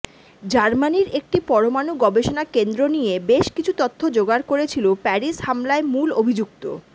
জার্মানির একটি পরমাণু গবেষণা কেন্দ্র নিয়ে বেশ কিছু তথ্য জোগাড় করেছিল প্যারিস হামলায় মূল অভিযুক্ত